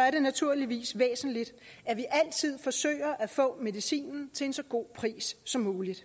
er det naturligvis væsentligt at vi altid forsøger at få medicinen til en så god pris som muligt